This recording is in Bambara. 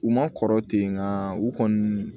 U ma kɔrɔ ten nka u kɔni